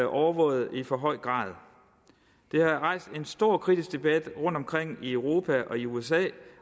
overvåget i for høj grad det har rejst en stor kritisk debat rundtomkring i europa og i usa